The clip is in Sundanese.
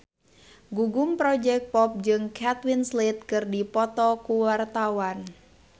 Gugum Project Pop jeung Kate Winslet keur dipoto ku wartawan